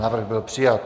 Návrh byl přijat.